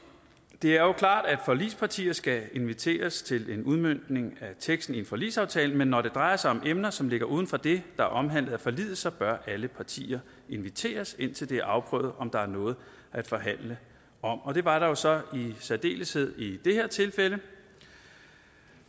det er jo klart at forligspartier skal inviteres til en udmøntning af teksten i en forligsaftale men når det drejer sig om emner som ligger uden for det er omhandlet af forliget så bør alle partier inviteres indtil det er afprøvet om der er noget at forhandle om og det var der jo så i særdeleshed i det her tilfælde